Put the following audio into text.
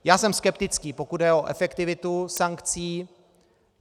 Já jsem skeptický, pokud jde o efektivitu sankcí.